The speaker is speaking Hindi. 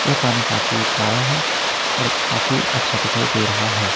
यह पानी काफी गहरा है और काफी अच्छा दिखाई दे रहा है।